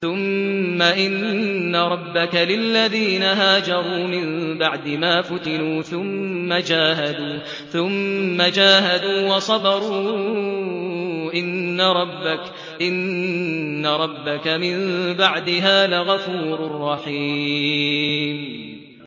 ثُمَّ إِنَّ رَبَّكَ لِلَّذِينَ هَاجَرُوا مِن بَعْدِ مَا فُتِنُوا ثُمَّ جَاهَدُوا وَصَبَرُوا إِنَّ رَبَّكَ مِن بَعْدِهَا لَغَفُورٌ رَّحِيمٌ